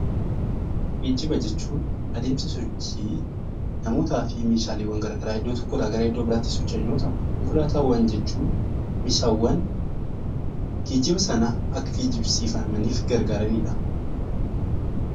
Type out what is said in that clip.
Geejjiba jechuun adeemsa sochii namootaa fi meeshaalee garaagaraa iddoo tokkoo gara iddoo biraatti geeffaman yoo ta'u, konkolaataawwan jechuun meeshaawwan wantoota geejjibsiifamaniif kan fayyadudha.